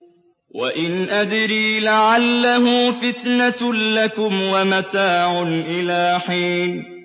وَإِنْ أَدْرِي لَعَلَّهُ فِتْنَةٌ لَّكُمْ وَمَتَاعٌ إِلَىٰ حِينٍ